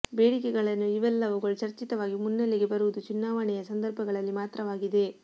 ಬೇಡಿಕೆ ಗಳೇನು ಇವೆಲ್ಲವುಗಳು ಚರ್ಚಿತವಾಗಿ ಮುನ್ನೆಲೆಗೆ ಬರುವುದು ಚುನಾವಣೆಯ ಸಂದರ್ಭಗಳಲ್ಲಿ ಮಾತ್ರವಾಗಿದೆ